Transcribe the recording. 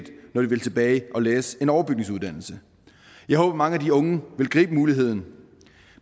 vil tilbage og læse en overbygningsuddannelse jeg håber at mange af de unge vil gribe muligheden